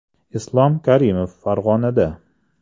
Islom Karimov Farg‘onada.